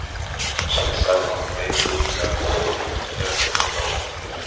Sæll, sagði hún og leit út fyrir að vera óörugg, ef ekki hreinlega óttaslegin.